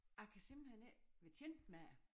Jeg kan simpelthen ikke være tjent med det